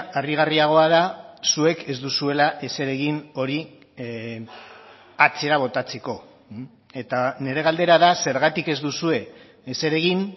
harrigarriagoa da zuek ez duzuela ezer egin hori atzera botatzeko eta nire galdera da zergatik ez duzue ezer egin